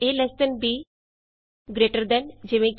a lt b greater than easy